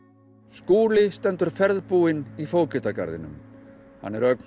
Skúli stendur ferðbúinn í Fógetagarðinum hann er ögn